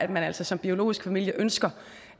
man altså som biologisk familie ønsker